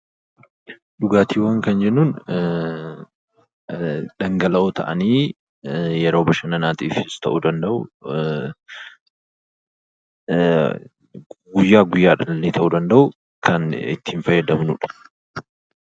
Dhugaatiiwwan kan jennuun dhangala'oowwan ta'anii yeroo bashannanaatiifis ta'uu danda’u, guyyaa guyyaadhaanos ta'uu danda’u kan itti fayyadamnudha.